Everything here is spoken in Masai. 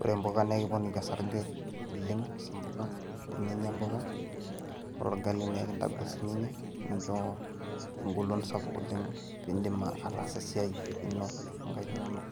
ore impuka naa. Ekiponiki orsarge oleng impuka teninyia imbuka ore orgali naa ekintagol siininye aisho engolon sapuk oleng piindim ataasa esiai oonkaik inonok.